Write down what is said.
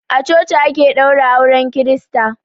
A coci ake ɗaura auren kirista.